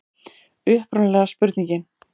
Upprunalega spurningin: